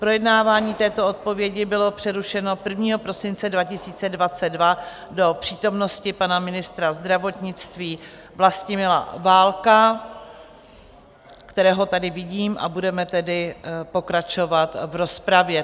Projednávání této odpovědi bylo přerušeno 1. prosince 2022 do přítomnosti pana ministra zdravotnictví Vlastimila Válka, kterého tady vidím, a budeme tedy pokračovat v rozpravě.